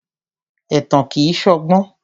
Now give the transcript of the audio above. Ẹ̀tàn kìí ṣọgbọ́n.